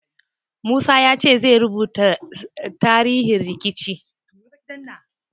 Musa ya ce ya rubuta tarihin rikicin.